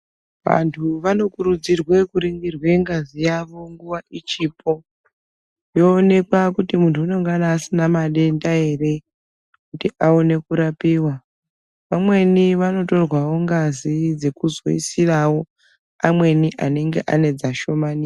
Antu vanokurudzirwe kuringirwe ngazi yawo nguva ichipo. Yoonekwa kuti muntu unongana asina matenda here kuti aone kurapiwa. Vamweni vanotorwawo ngazi dzekuzoisirawo amweni anenge ane dzashomanika.